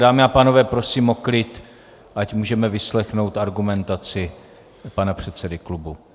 Dámy a pánové, prosím o klid, ať můžeme vyslechnout argumentaci pana předsedy klubu.